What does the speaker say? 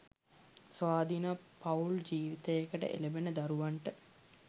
ස්වාධීන පවුල් ජීවිතයකට එළඹෙන දරුවන්ට